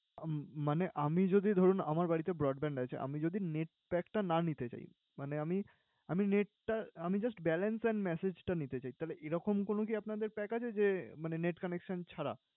উম মানে আমি যদি ধরুন আমার বাড়িতে broadband রয়েছে। আমি যদি net pack টা না নিতে চাই মানে আমি আমি net টা আমি just balance আর message টা নিতে চাই। তাইলে এরকম কোন কি আপনাদের pack আছে যে মানে net connection ছাড়া?